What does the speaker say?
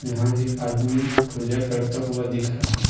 एक आदमी पूजा करता हुआ दिख रहा है।